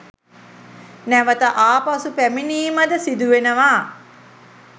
නැවත ආපසු පැමිණීමද සිදු වෙනවා.